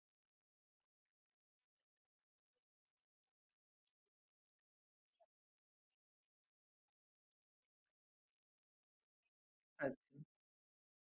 आमचा माणूस तुमच्या पर्यत पोहचेल तुम्हाला फोन करेल कि sir तुम्ही फ्री आहेत का म्हणजे आता इथून पुढे तोच तुमच्याशी डील करेल जो कोणी तुमचा fridge दुरुस्त करायला येणार आहे तो